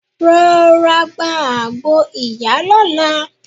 Rọra gba àgbo ìyá lọ́la.